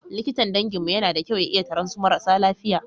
Likitan danginmu yana da kyau ya iya taran su marasa lafiya.